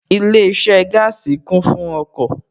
Ilé iṣẹ́ gaasi kún fún ọkọ̀